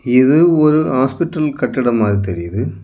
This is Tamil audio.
இது ஒரு ஹாஸ்பிடல் கட்டடம்மாதி தெரியுது.